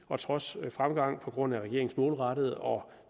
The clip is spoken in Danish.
trods fremgang på grund af regeringens målrettede og